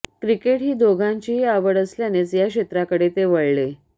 cricket ही दोघांचीही आवड असल्यानेच या क्षेत्राकडे ते वळाले